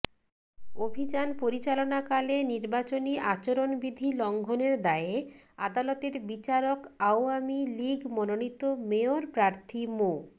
অভিযান পরিচালনাকালে নির্বাচনী আচরণবিধি লঙঘনের দায়ে আদালতের বিচারক আওয়ামী লীগ মনোনীত মেয়র প্রার্থী মো